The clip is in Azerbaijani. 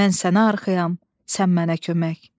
Mən sənə arxayam, sən mənə kömək.